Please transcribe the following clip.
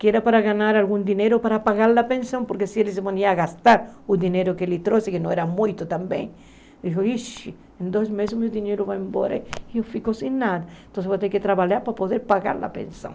que era para ganhar algum dinheiro para pagar a pensão, porque se eles iam gastar o dinheiro que ele trouxe, que não era muito também, ele falou, ixi, em dois meses o meu dinheiro vai embora e eu fico sem nada, então eu vou ter que trabalhar para poder pagar a pensão.